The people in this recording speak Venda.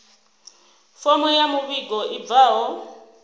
fomo ya muvhigo i bvaho